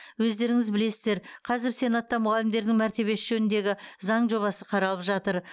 өздеріңіз білесіздер қазір сенатта мұғалімдердің мәртебесі жөніндегі заң жобасы қаралып жатыр